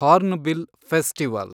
Hornbill festival